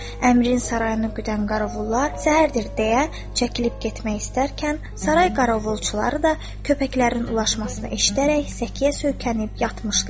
Əmirin sarayını güdən qarovullar səhərdir deyə çəkilib getmək istərkən, saray qarovulçuları da köpəklərin ulaşmasını eşidərək səkkiyə söykənib yatmışdılar.